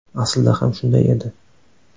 Aslida ham shunday edi.